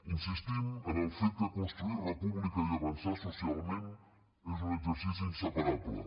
insistim en el fet que construir república i avançar socialment és un exercici inseparable